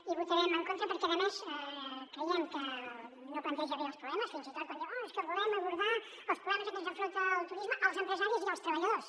hi votarem en contra perquè a més creiem que no planteja bé els problemes fins i tot quan diu oh és que volem abordar els problemes als que ens enfronta el turisme als empresaris i als treballadors